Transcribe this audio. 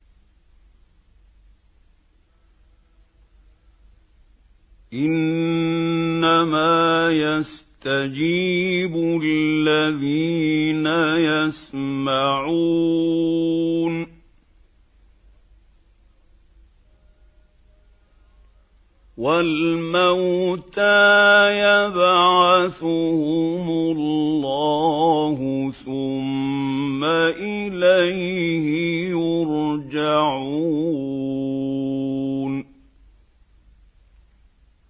۞ إِنَّمَا يَسْتَجِيبُ الَّذِينَ يَسْمَعُونَ ۘ وَالْمَوْتَىٰ يَبْعَثُهُمُ اللَّهُ ثُمَّ إِلَيْهِ يُرْجَعُونَ